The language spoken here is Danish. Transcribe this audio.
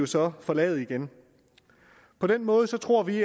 så forlade igen på den måde tror vi